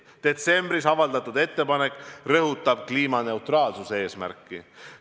Detsembris avaldatud ettepanek rõhutab kliimaneutraalsuse eesmärki.